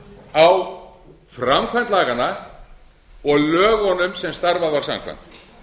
á framkvæmd laganna og lögunum sem starfað var samkvæmt